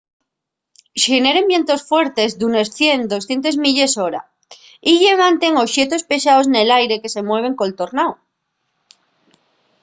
xeneren vientos fuertes d'unes 100-200 milles/hora y llevanten oxetos pesaos nel aire que se mueven col tornáu